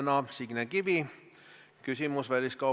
See oli ajakirjaniku irooniline kriitiline tähelepanek valitsuse suhtumise kohta.